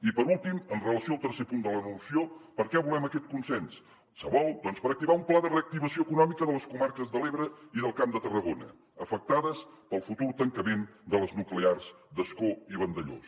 i per últim amb relació al tercer punt de la moció per a què volem aquest consens se vol doncs per activar un pla de reactivació econòmica de les comarques de l’ebre i del camp de tarragona afectades pel futur tancament de les nuclears d’ascó i vandellòs